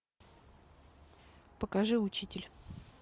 покажи учитель